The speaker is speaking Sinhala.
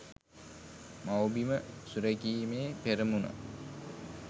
මව්බිම සුරැකීමේ පෙරමුණ